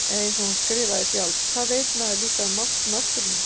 Eða einsog hún skrifaði sjálf: Hvað veit maður líka um mátt náttúrunnar.